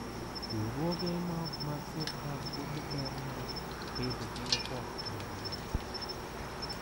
Riwruoge ma ok mag sirkal puonjo ber mar bedo gi oboke mag lope.